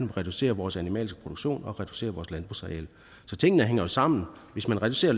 vi reducerer vores animalske produktion og reducerer vores landbrugsareal så tingene hænger jo sammen hvis man reducerer